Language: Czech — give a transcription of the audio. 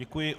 Děkuji.